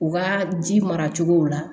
U ka ji mara cogow la